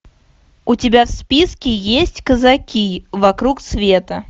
у тебя в списке есть казаки вокруг света